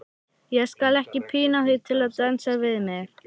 Ég skal ekki pína þig til að dansa við mig.